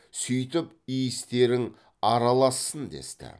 сөйтіп иістерің аралассын десті